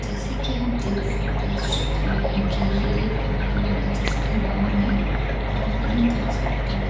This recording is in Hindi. जैसे की हम देख सकते है इस चित्र मे ये एक मकान हैजिसका नाम है परमानन्द हॉस्पिटल ।